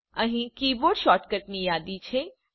અહીં કીબોર્ડ શૉર્ટકટ્સની યાદી છે